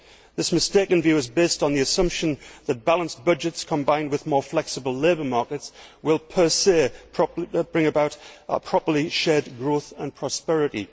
This mistaken view is based on the assumption that balanced budgets combined with more flexible labour markets will, per se, bring about properly shared growth and prosperity.